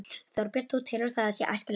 Þorbjörn: Þú telur að það sé æskilegt?